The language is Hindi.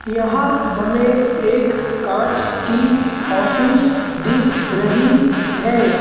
यहां हमें एक कांच की ऑफिस दिख रही है।